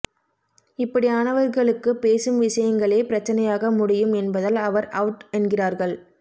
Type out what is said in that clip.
இப்படியானவர்களுக்கு பேசும் விசயங்களே பிரச்சனையாக முடியும் என்பதால் அவர் அவுட் என்கிறார்கள்